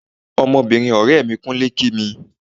Ọmọbìnrin ọ̀rẹ́ẹ mi kúnlẹ̀ kí mi.